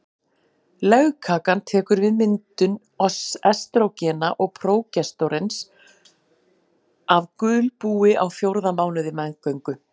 Legkakan tekur við myndun estrógena og prógesteróns af gulbúi á fjórða mánuði meðgöngu.